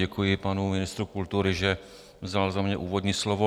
Děkuji panu ministru kultury, že vzal za mě úvodní slovo.